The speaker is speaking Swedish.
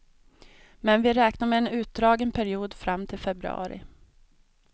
Men vi räknar med en utdragen period fram till februari.